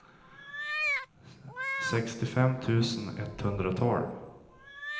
sextiofem tusen etthundratolv